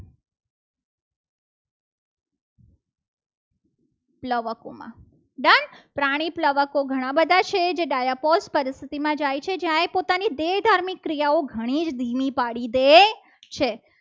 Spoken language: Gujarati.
પ્લાવકોમાં done પાણી પ્લાવકોમાં ઘણા બધા છે. જે dispose પર સુધીમાં જાય છે. જ્યાં એ પોતાની દેહધાર્મિક ક્રિયાઓ ઘણી જ ધીમી પાડી દે છે.